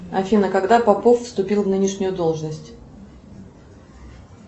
афина когда попов вступил в нынешнюю должность